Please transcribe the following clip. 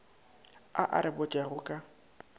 a a re botšago ka